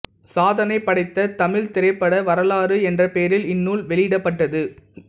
சாதனை படைத்த தமிழ்த் திரைப்பட வரலாறு என்ற பெயரில் இந்நூல் வெளியிடப்பட்டது